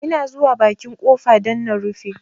Ina zuwa bakin ƙofa don na rufe